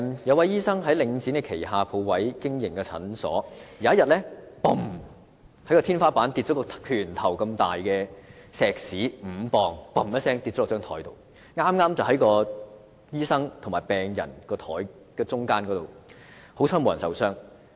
有醫生在領展旗下鋪位經營診所，有一天，天花板掉下一塊拳頭般大小、重5磅的石屎，剛好掉在醫生與病人之間的桌面上，幸好沒有人受傷。